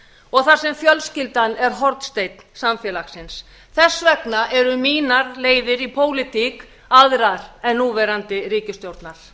og þar sem fjölskyldan er hornsteinn samfélagsins þess vegna eru mínar leiðir í pólitík aðrar en núverandi ríkisstjórnar